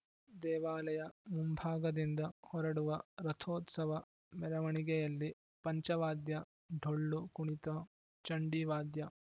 ದೇವಾಲಯ ಮುಂಭಾಗದಿಂದ ಹೊರಡುವ ರಥೋತ್ಸವ ಮೆರವಣಿಗೆಯಲ್ಲಿ ಪಂಚವಾದ್ಯ ಡೊಳ್ಳು ಕುಣಿತ ಚಂಡಿ ವಾದ್ಯ